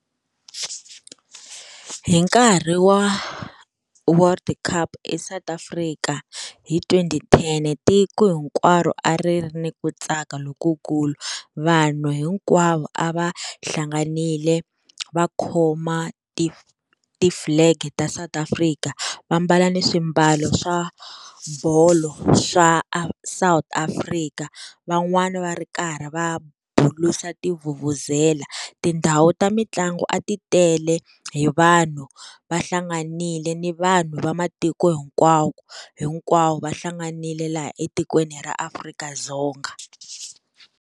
Hi nkarhi wa World Cup eSouth Africa hi twenty ten tiko hinkwaro a ri ri ni ku tsaka lokukulu vanhu hinkwavo a va hlanganile va khoma ti tiflege ta South Africa va mbala ni swimbalo swa bolo swa South Africa, van'wana va ri karhi va bulusa ti vuvuzela, tindhawu ta mitlangu a ti tele hi vanhu va hlanganile ni vanhu va matiko hinkwawo hinkwawo va hlanganile laha etikweni ra Afrika-Dzonga.